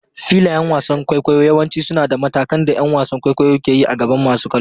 Filayen wasan kwaikwayo yawanci suna da matakan da ƴan wasan kwaikwayo ke yi a gaban masu kallo.